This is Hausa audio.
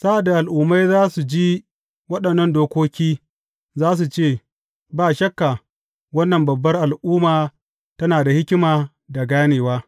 Sa’ad da al’ummai za su ji waɗannan dokoki, za su ce, Ba shakka, wannan babbar al’umma tana da hikima da ganewa.